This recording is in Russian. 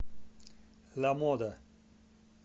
ламода